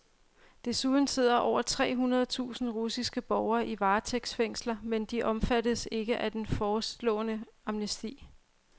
Desuden sidder over tre hundrede tusinde russiske borgere i varetægtsfængsler, men de omfattes ikke af den foreslåede amnesti.